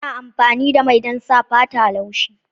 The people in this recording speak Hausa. Ana amfani da mai don sa fata laushi.